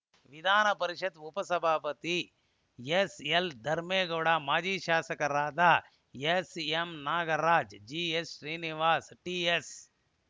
ವಿಧಾನ ಪರಿಷತ್‌ ಉಪ ಸಭಾಪತಿ ಎಸ್‌ಎಲ್‌ ಧರ್ಮೇಗೌಡ ಮಾಜಿ ಶಾಸಕರಾದ SM Nagaraj GH Srinivas TH